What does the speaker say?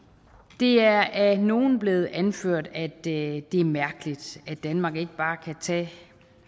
det er af nogle blevet anført at det er mærkeligt at danmark ikke bare kan tage